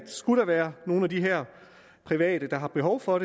skulle være nogle af de her private der har behov for